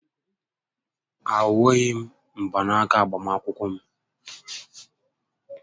A hughị m mgbanaka agbamakwụkwọ m